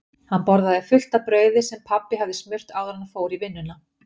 Hann borðaði fullt af brauði sem pabbi hafði smurt áður en hann fór í vinnuna.